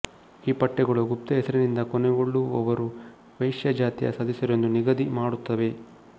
ಈ ಪಠ್ಯಗಳು ಗುಪ್ತ ಹೆಸರಿನಿಂದ ಕೊನೆಗೊಳ್ಳುವವರು ವೈಶ್ಯ ಜಾತಿಯ ಸದಸ್ಯರೆಂದು ನಿಗದಿ ಮಾಡುತ್ತವೆ